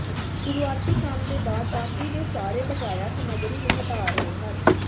ਸ਼ੁਰੂਆਤੀ ਕੰਮ ਦੇ ਬਾਅਦ ਬਾਕੀ ਦੇ ਸਾਰੇ ਬਕਾਇਆ ਸਮੱਗਰੀ ਨੂੰ ਹਟਾ ਰਹੇ ਹਨ